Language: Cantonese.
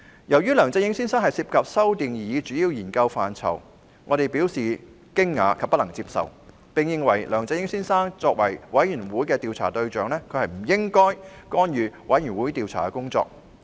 由於梁振英先生涉及修訂擬議主要研究範疇，我們表示驚訝及不能接受，並認為梁振英先生作為專責委員會的調查對象，不應干預專責委員會的工作。